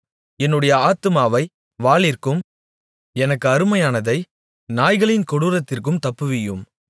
என்னுடைய ஆத்துமாவை வாளிற்கும் எனக்கு அருமையானதை நாய்களின் கொடூரத்திற்கும் தப்புவியும்